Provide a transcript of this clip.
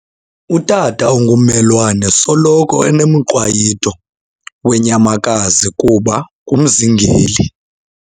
Utata ongummelwane usoloko enomqwayito weenyamakazi kuba ngumzingeli.